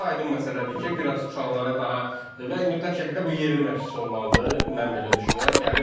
Və burda aydın məsələdir ki, biraz uşaqlara daha və mütləq şəkildə bu yerli məşqçi olmalıdır, mən belə düşünürəm.